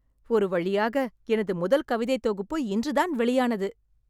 ஒரு வழியாக எனது முதல் கவிதைத் தொகுப்பு இன்று தான் வெளியானது.